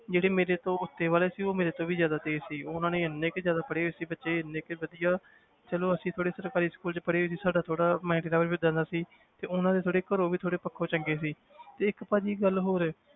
ਜਿਹੜੇ ਮੇਰੇ ਤੋਂ ਉੱਤੇ ਵਾਲੇ ਸੀ ਉਹ ਮੇਰੇ ਤੋਂ ਵੀ ਜ਼ਿਆਦਾ ਤੇਜ਼ ਸੀ ਉਹਨਾਂ ਨੇ ਇੰਨੇ ਕੁ ਜ਼ਿਆਦਾ ਪੜ੍ਹੇ ਹੋਏ ਸੀ ਬੱਚੇ ਇੰਨੇ ਕੁ ਵਧੀਆ ਚਲੋ ਅਸੀਂ ਥੋੜ੍ਹੇ ਸਰਕਾਰੀ school 'ਚ ਪੜ੍ਹੇ ਹੋਏ ਸੀ ਸਾਡਾ ਥੋੜ੍ਹਾ mind level ਵੀ ਏਦਾਂ ਦਾ ਸੀ ਤੇ ਉਹਨਾਂ ਦੇ ਥੋੜ੍ਹੇ ਘਰੋਂ ਵੀ ਥੋੜ੍ਹੇ ਪੱਖੋਂ ਚੰਗੇ ਸੀ ਤੇ ਇੱਕ ਭਾਜੀ ਗੱਲ ਹੋਰ